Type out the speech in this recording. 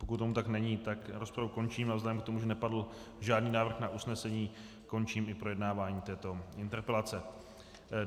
Pokud tomu tak není, tak rozpravu končím a vzhledem k tomu, že nepadl žádný návrh na usnesení, končím i projednávání této interpelace.